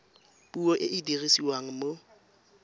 puo e e dirisiwang mo